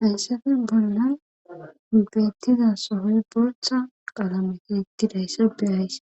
Hansafe bolla beettiza sohoy bortha qalamete ettidayssa beyayss